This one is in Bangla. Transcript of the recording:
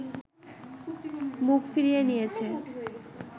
মুখ ফিরিয়ে নিয়েছে